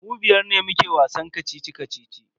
Mu biyar ne muke wasan kacici-kacici.